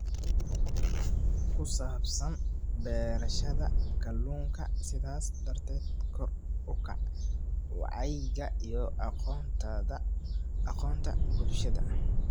ku saabsan beerashada kalluunka, sidaas darteed kor u kaca wacyiga iyo aqoonta bulshada.